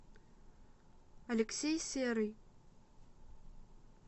алексей серый